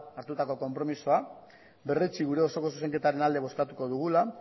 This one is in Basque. hartutako konpromisoa eta berretsi gure osoko zuzenketaren alde bozkatuko dugula